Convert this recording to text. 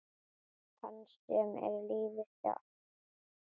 Hans sem er lífið sjálft.